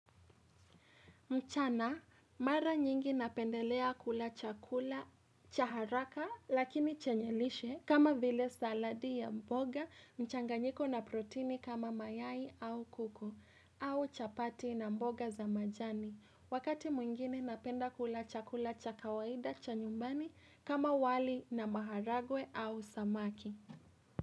Mchana mara nyingi napendelea kula chakula cha haraka lakini chenye lishe kama vile saladi ya mboga mchanganyiko na protini kama mayai au kuku au chapati na mboga za majani. Wakati mwingine napenda kula chakula cha kawaida cha nyumbani kama wali na maharagwe au samaki.